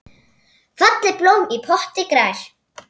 Fallegt blóm í potti grær.